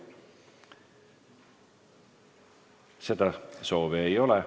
Seda soovi ei ole.